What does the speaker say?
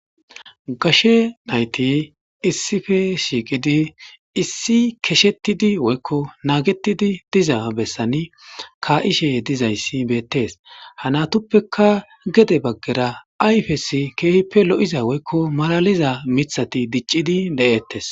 Gashe nayti issife shiiqidi issi keshettidi woykko naagetidi diza bessani ka7ishe dizayssi beettees hanatuppeka gede baggera ayfesi keehippe lo7iza woykko malaliza mithati diccidi le7ettes.